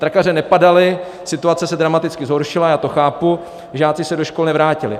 Trakaře nepadaly, situace se dramaticky zhoršila, já to chápu, žáci se do škol nevrátili.